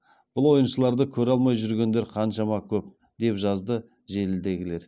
бұл ойыншыларды көре алмай жүргендер қаншама көп деп жазды желідегілер